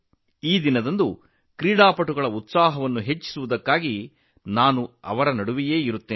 ಆಟಗಾರರ ಉತ್ಸಾಹವನ್ನು ಹೆಚ್ಚಿಸಲು ಅಂದು ನಾನು ಅವರ ಮಧ್ಯೆ ಇರುತ್ತೇನೆ